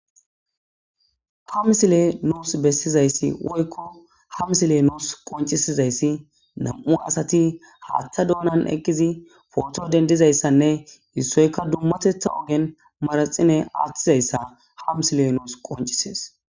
Ha msile nuus bessizayssi woykko hamsile nous qoncisizayssi nam'u asati haaththa doonan eqqizi foto dendizayssanne issoyka dummatetha ogen maraxine aaththizayssa hamsile nous qoncisees